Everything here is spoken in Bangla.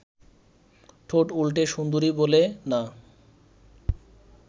ঠোঁট উল্টে সুন্দরী বলে, না